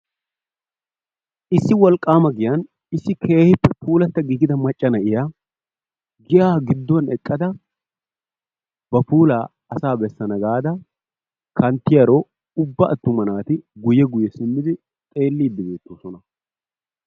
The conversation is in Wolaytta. issi wolqaamiya giyan issi keehippe puulatta giigida macca na'iya giyaa gidduwa eqqada ba puula asaa bessana gaada kantiyaro ubba attuma naati guyye guyye simmidi xeelidi dees.